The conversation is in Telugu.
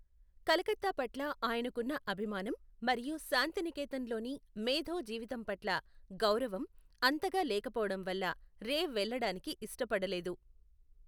కలకత్తా పట్ల ఆయనకున్న అభిమానం మరియు శాంతినికేతన్లోని మేధో జీవితం పట్ల గౌరవం అంతగా లేకపోవడం వల్ల రే వెళ్ళడానికి ఇష్టపడలేదు.